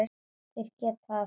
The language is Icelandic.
Þeir geta það samt.